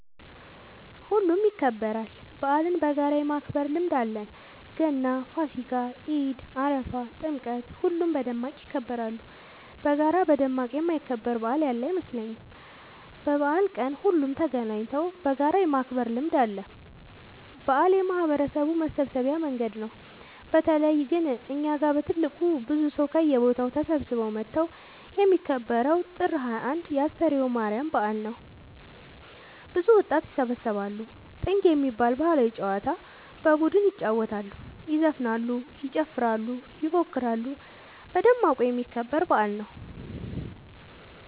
ሁሉም ይከበራል። በአልን በጋራ የማክበር ልምድ አለን ገና ፋሲካ ኢድ አረፋ ጥምቀት ሁሉም በደማቅ ይከበራሉ። በጋራ በደማቅ የማይከበር በአል ያለ አይመስለኝም። በበአል ቀን ሁሉም ተገናኘተው በጋራ የማክበር ልምድ አለ። በአል የማህበረሰቡ መሰብሰቢያ መንገድ ነው። በተለይ ግን እኛ ጋ በትልቁ ብዙ ሰው ከየቦታው ተሰብስበው መተው የሚከበረው ጥር 21 የ አስተርዮ ማርያም በአል ነው። ብዙ ወጣት ይሰባሰባሉ። ጥንግ የሚባል ባህላዊ ጨዋታ በቡድን ይጫወታሉ ይዘፍናሉ ይጨፍራሉ ይፎክራሉ በደማቁ የሚከበር በአል ነው።